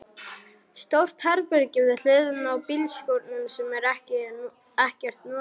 Stórt herbergi við hliðina á bílskúrnum sem er ekkert notað.